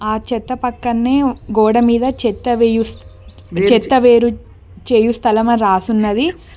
ఆ చెత్త పక్కనే గోడమీద చెత్త వేయు చెత్త వేరు చేయు స్థలం అని రాసి ఉన్నది.